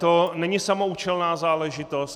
To není samoúčelná záležitost.